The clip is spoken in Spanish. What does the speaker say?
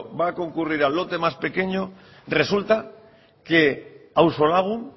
va a concurrir al lote más pequeño resulta que auzolagun